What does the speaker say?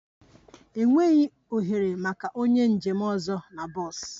Enweghị ohere maka onye njem ọzọ na bọs